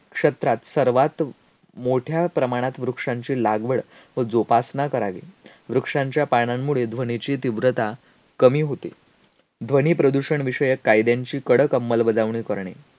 क्षेत्रात सर्वात मोठ्या प्रमाणात वृक्षांची लागवड व जोपासना करावी. वृक्षांच्या पानांमुळे ध्वनीची तीव्रता कमी होते. ध्वनीप्रदूषण विषयक कायद्यांची कडक अंमलबजावणी करणे